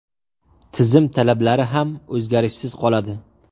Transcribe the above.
Tizim talablari ham o‘zgarishsiz qoladi.